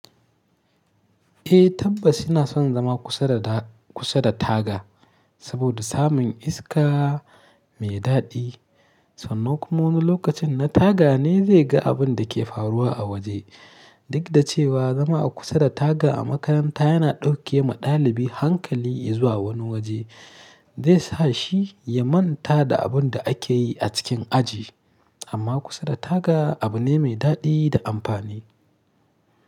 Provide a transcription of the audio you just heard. Eh tabbas ina son zama kusa da da kusa da taga, saboda samun iska mai daɗi sannan kuma wani lokacin na taga ne zai ga abun da ke faruwa a waje. Duk da cewa zama a kusa da taga a makaranta yana ɗauke wa ɗalibi hankali ya zuwa wani waje, zai sa shi ya manta da abun da ake yi a cikin aji. Amma kusa da taga abu ne mai daɗi da amfani.